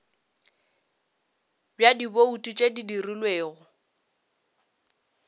bja dibouto tše di dirilwego